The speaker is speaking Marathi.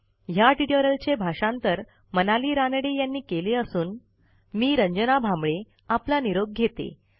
ह्या ट्युटोरियलचे भाषांतर मनाली रानडे यांनी केले असून मी रंजना भांबळे आपला निरोप घेते